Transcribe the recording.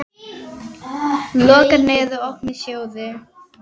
Lokaðir eða opnir sjóðir?